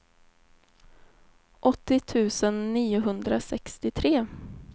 åttio tusen niohundrasextiotre